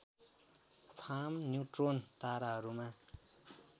farm neutron ताराहरूमा